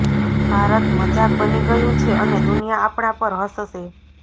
ભારત મજાક બની ગયું છે અને દુનિયા આપણા પર હસશે